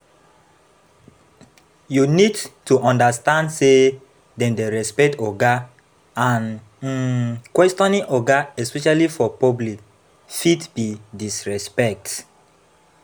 You need to understand sey dem dey respect oga and um questioning oga especially for public fit be disrespect